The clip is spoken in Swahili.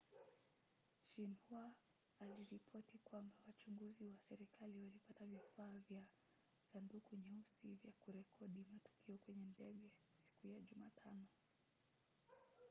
xinhua aliripoti kwamba wachunguzi wa serikali walipata vifaa vya 'sanduku nyeusi' vya kurekodi matukio kwenye ndege siku ya jumatano